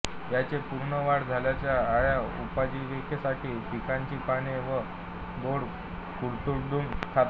याचे पूर्ण वाढ झालेल्या अळ्या उपजिवीकेसाठी पिकांची पाने व बोंड कुरतडून खातात